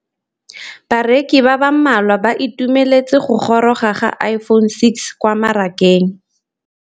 Bareki ba ba malwa ba ituemeletse go gôrôga ga Iphone6 kwa mmarakeng.